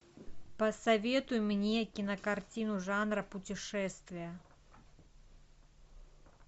посоветуй мне кинокартину жанра путешествия